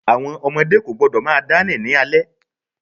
Àwọn ọmọdé kò gbọ́dọ̀ máa dá rìn ní alẹ́.